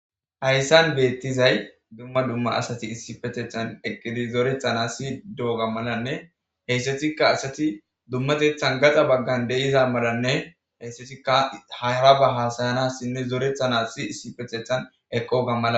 hayssan beettizay dumma dumma asati issipethethan eqqidi zorethana si doo ga malanne heyssatikka asati dummatethan gaxa baggan deiza malanne heyssatikka hayra ba haasayanassinne zorethana si issipethethan eqo gammala